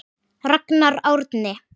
Ragnar Árni.